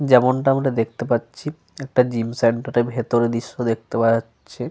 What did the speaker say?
যেমনটা আমরা দেখতে পাচ্ছি. একটা জিম সেন্টার -এর ভিতরের দৃশ্য় দেখতে পাওয়া যাচ্ছে।